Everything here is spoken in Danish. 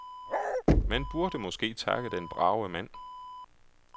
Man burde måske takke den brave mand.